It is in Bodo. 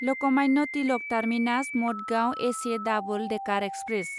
लकमान्य तिलक टार्मिनास मदगांव एसे डाबोल डेकार एक्सप्रेस